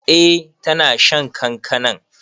Eh ta na shan kankanan.